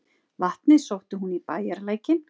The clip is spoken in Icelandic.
Vatnið sótti hún í bæjarlækinn.